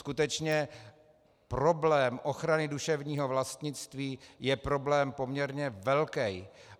Skutečně, problém ochrany duševního vlastnictví je problém poměrně velký.